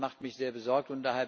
Das macht mich sehr besorgt.